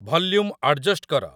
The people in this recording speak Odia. ଭଲ୍ୟୁମ୍ ଆଡଜଷ୍ଟ୍ କର